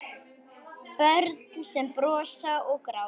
Börn sem brosa og gráta.